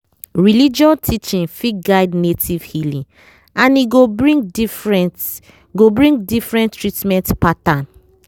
religious teaching fit guide native healing and e go bring different go bring different treatment pattern.